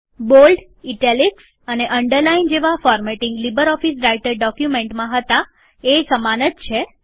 bold italics અને underline જેવા formatting LibreOffice Writer ડોક્યુમેન્ટ્સમાં હતા એ સમાન જ છે